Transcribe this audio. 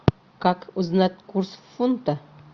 как узнать курс фунта